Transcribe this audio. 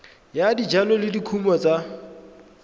ya dijalo le dikumo tsa